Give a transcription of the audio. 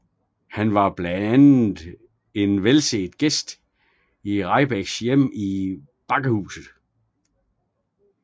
Han var blandt andet en velset gæst i Rahbeks hjem Bakkehuset